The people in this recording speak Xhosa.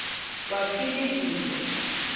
kwaphilingile